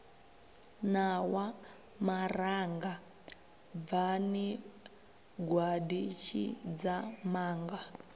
ṋawa maranga bvani gwaḓi tshidzamanga